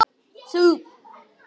Háaloft var ríki